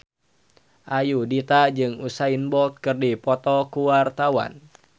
Ayudhita jeung Usain Bolt keur dipoto ku wartawan